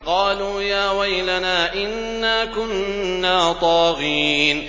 قَالُوا يَا وَيْلَنَا إِنَّا كُنَّا طَاغِينَ